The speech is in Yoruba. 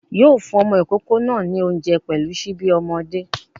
Yóò fún ọmọ ìkókó náà ní oúnjẹ pẹ̀lú síbí ọmọdé